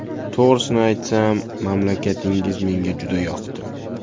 To‘g‘risini aytsam, mamlakatingiz menga juda yoqdi.